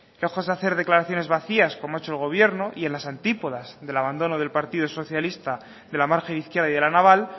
que de hacer declaraciones vacías como ha hecho el gobierno y en las antípodas del abandono del partido socialista de la margen izquierda y de la naval